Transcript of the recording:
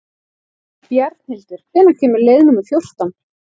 Bjarnhildur, hvenær kemur leið númer fjórtán?